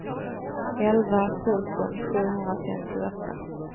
elva tusen sjuhundrafemtioåtta